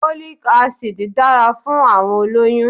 Folic acid dára fún àwọn olóyú-ún